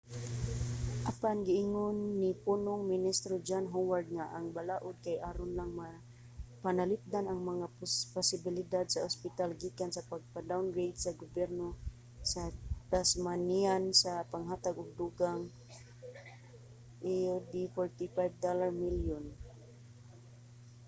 apan giingon ni punong ministro john howard nga ang balaod kay aron lang mapanalipdan ang mga pasilidad sa ospital gikan sa pagpa-downgrade sa gobyerno sa tasmanian sa paghatag og dugang aud$45 milyon